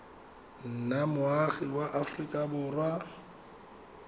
nna moagi wa aforika borwa